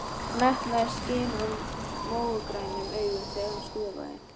Metnaður skein úr mógrænum augunum þegar hún skrifaði.